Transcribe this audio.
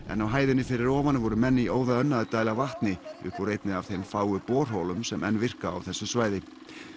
en á hæðinni fyrir ofan voru menn í óða önn að dæla vatni upp úr einni af þeim fáu borholum sem enn virka á þessu svæði